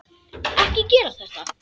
Ekki gera þetta.